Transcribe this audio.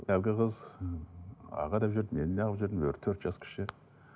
әлгі қыз аға деп жүрді мен неағылып жүрдім өзі төрт жас кіші